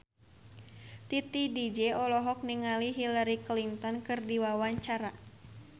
Titi DJ olohok ningali Hillary Clinton keur diwawancara